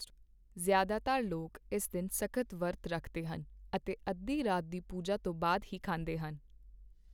ਜ਼ਿਆਦਾਤਰ ਲੋਕ ਇਸ ਦਿਨ ਸਖ਼ਤ ਵਰਤ ਰੱਖਦੇ ਹਨ ਅਤੇ ਅੱਧੀ ਰਾਤ ਦੀ ਪੂਜਾ ਤੋਂ ਬਾਅਦ ਹੀ ਖਾਂਦੇ ਹਨ।